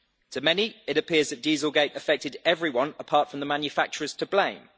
To many, it appears that dieselgate' affected everyone apart from the manufacturers to blame.